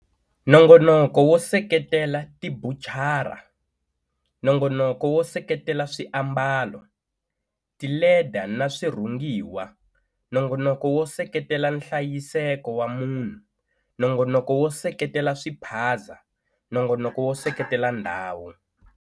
Nongonoko wo seketela tibucara, Nongonoko wo seketela swiambalo, tileda na swirhungiwa, Nongonoko wo seketela nhlayiseko wa munhu, Nongonomo wo seketela swiphaza, Nongonoko wo seketela ndhawu.